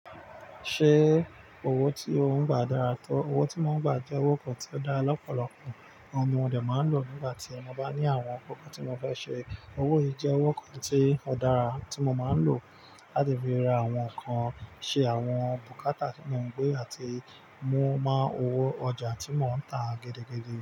Ṣé owó tí ò ń gbà dára tó? Owó tí mò ń gbà jẹ́ owó kan tí ó dára lọ́pọ̀lọpọ̀. Òun ni mo de máa ń lò nígbà tí mo bá ní àwọn nǹkankan tí mo fẹ́ ṣe. Owó yìí jẹ́ owó kan tí ó dára tí mo máa ń lò láti fi ra àwọn nǹkan ṣe, àwọn bùkátà tí mò ń gbé àti mú mo owó ọjà tí mò ń tà gidigidi.